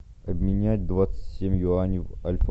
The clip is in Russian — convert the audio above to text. обменять двадцать семь юаней в альфа